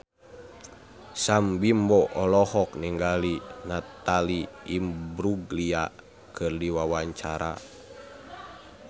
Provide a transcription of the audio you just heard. Sam Bimbo olohok ningali Natalie Imbruglia keur diwawancara